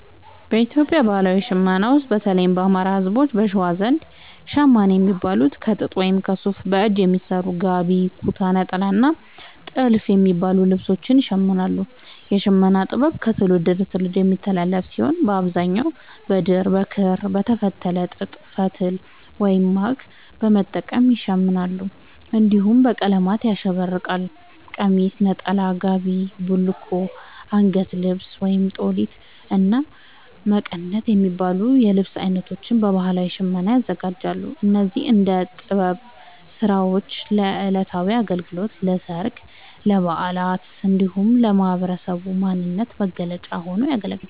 በኢትዮጵያ ባህላዊ ሽመና ውስጥ፣ በተለይም የአማራ፣ ህዝቦች(በሸዋ) ዘንድ ‘ሸማኔ’ የሚባሉት ከጥጥ ወይም ከሱፍ በእጅ በሚሰሩ ‘ጋቢ’፣ ‘ኩታ’፣ ‘ኔጣላ’ እና ‘ቲልፍ’ የሚባሉ ልብሶችን ይሽምናሉ። የሽመና ጥበቡ ከትውልድ ወደ ትውልድ የሚተላለፍ ሲሆን፣ በአብዛኛው በድር፣ በክር፣ በተፈተለ ጥጥ ፈትል(ማግ) በመጠቀም ይሸምናሉ። እንዲሁም በቀለማት ያሸበረቀ ቀሚስ፣ ነጠላ፣ ጋቢ፣ ቡልኮ፣ አንገት ልብስ(ጦሊት)፣እና መቀነት የሚባሉ የልብስ አይነቶችን በባህላዊ ሽመና ያዘጋጃሉ። እነዚህ የእደ ጥበብ ስራዎች ለዕለታዊ አገልግሎት፣ ለሠርግ፣ ለበዓላት እንዲሁም ለህብረተሰቡ ማንነት መገለጫ ሆነው ያገለግላሉ።